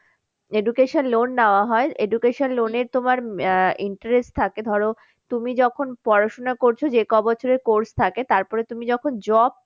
Education loan নেওয়া হয় education loan এর তোমার আহ interest থাকে ধরো তুমি যখন পড়াশোনা করছো যে কবছরের course থাকে তারপরে তুমি যখন job